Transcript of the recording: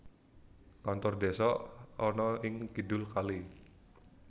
Kantor Desa ana ing kidul kali